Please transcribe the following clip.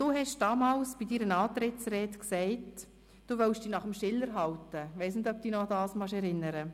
Bei deiner Antrittsrede hast du damals gesagt, du wollest dich an Schiller halten: